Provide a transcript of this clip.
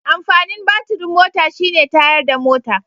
Amfanin batirin mota shi ne tayarda mota